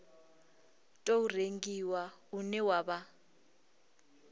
tou rengiwa une wa vha